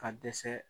Ka dɛsɛ